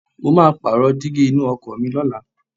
Mo máa pààrọ̀ dígí inú ọkọ̀ mi lọ́la.